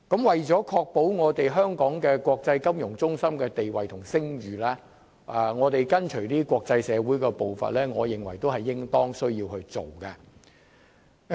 為維護香港國際金融中心的地位和聲譽而跟隨國際社會的步伐，我認為也是應當要做的。